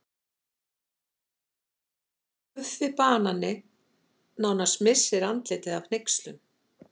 Guffi banani nánast missir andlitið af hneykslun.